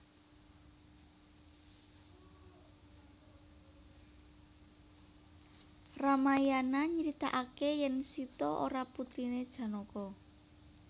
Ramayana nyeritakake yen Sita ora putrine Janaka